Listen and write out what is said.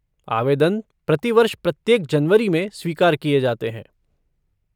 आवेदन प्रतिवर्ष प्रत्येक जनवरी में स्वीकार किए जाते हैं।